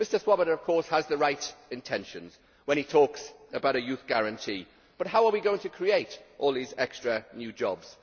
Mr Swoboda of course has the right intentions when he talks about a youth guarantee but how are we going to create all these extra new jobs?